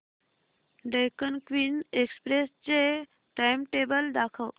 Deccan Queen Express चे timetable दाखव